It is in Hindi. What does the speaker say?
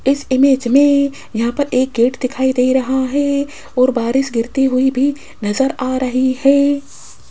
इस इमेज में यहां पर एक गेट दिखाई दे रहा है और बारिश गिरती हुई भी नजर आ रही है।